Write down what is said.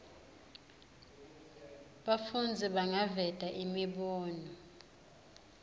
bafundzi bangaveta imibono